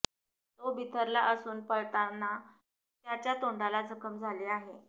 तो बिथरला असून पळतांना त्याच्या तोंडाला जखम झाली आहे